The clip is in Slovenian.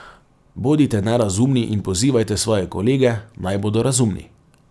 Bodite nerazumni in pozivajte svoje kolege, naj bodo razumni.